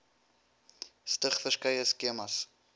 stig verskeie skemas